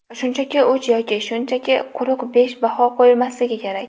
Shunchaki uch yoki shunchaki quruq besh baho qo‘yilmasligi kerak.